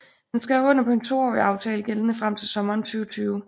Han skrev under på en toårig aftale gældende frem til sommeren 2020